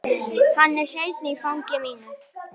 Hann er hreinn í fangi mínu.